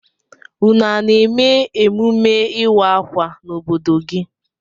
Ụnụ a na-eme emume ịwa akwa n'obodo gị?